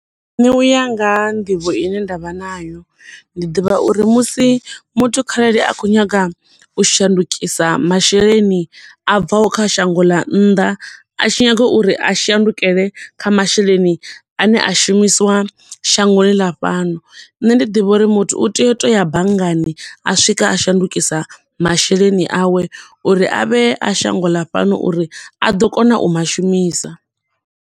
Nṋe u ya nga ha nḓivho ine nda vha nayo, ndi ḓivha uri musi muthu kharali a khou nyaga u shandukisa masheleni abvaho kha shango ḽa nnḓa, a tshi nyaga uri a shundukele kha masheleni ane a shumisiwa shangoni la fhano. Nṋe ndi ḓivha uri muthu u tea u to ya banngani, a swika a shandukisa masheleni awe, uri a vhe a shango ḽa fhano uri a ḓo kona u ma shumisa.